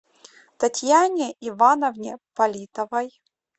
татьяне ивановне политовой